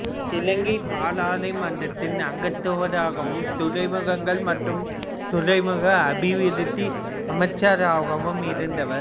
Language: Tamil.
இலங்கை பாராளுமன்றத்தின் அங்கத்தவராகவும் துறைமுகங்கள் மற்றும் துறைமுக அபிவிருத்தி அமைச்சராகவும் இருந்தவர்